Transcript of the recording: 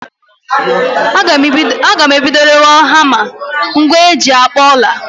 Agam ebido rewe hama, ngwa eji akpụ ọla